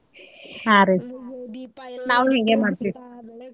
ಹಾ ರಿ ನಾವೂ ಹಿಂಗೆ ಮಾಡ್ತೀವ್ .